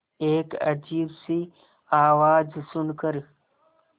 एक अजीब सी आवाज़ सुन कर